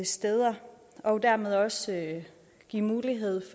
steder og dermed også give mulighed